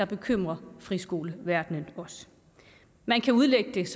bekymrer friskoleverdenen man kan udlægge det